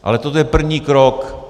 Ale to je první krok.